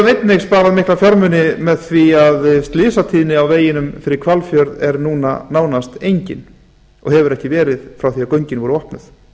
einnig sparað mikla fjármuni með því að slysatíðni á veginum fyrir hvalfjörð er núna nánast engin og hefur ekki verið frá því að göngin voru opnuð